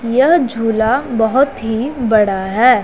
यह झूला बहोत् ही बड़ा है।